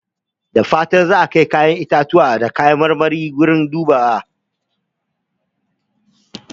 Da fatan za a auna ƴaƴan itatuwa da kayan marmari da farashi kafin ku kai su wurin dubawa.